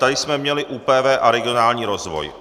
Tady jsme měli ÚPV a regionální rozvoj.